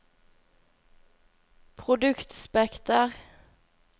produktspekter